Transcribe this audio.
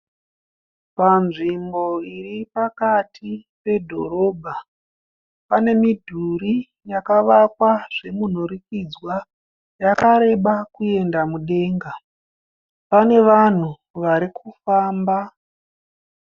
Panzvimbo iripakati pedhorobha . Pane midhuri yakavakwa zvemunhurikidzwa. Yakareba kuenda mudenga. Pane vanhu varikufamba.